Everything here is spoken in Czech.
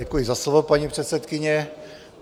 Děkuji za slovo, paní předsedkyně.